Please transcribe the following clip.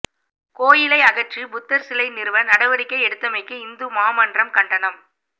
கோயிலை அகற்றி புத்தர்சிலை நிறுவ நடவடிக்கை எடுத்தமைக்கு இந்து மாமன்றம் கண்டனம்